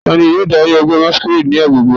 Tani yoo dari ẹgbẹ masquerade ni agbegbe rẹ?